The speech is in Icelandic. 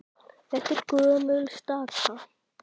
Þetta er gömul staka.